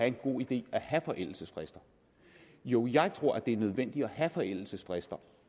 en god idé at have forældelsesfrister jo jeg tror det er nødvendigt at have forældelsesfrister